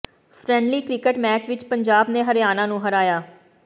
friendly cricket match ਵਿੱਚ ਪੰਜਾਬ ਨੇ ਹਰਿਆਣਾ ਨੂੰ ਹਰਾਇਆ